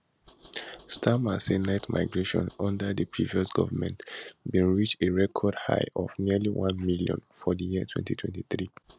starmer say net migration under di previous govment bin reach a record high of nearly one million for di year 2023